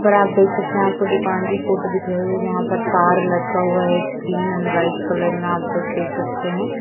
पर आप देख सकते हैं आपको दुकान की फोटो दिख रही होगी। यहाँ पर तार लटका हुआ है ग्रीन एण्ड व्हाइट कलर में। आप लोग देख सकते हैं।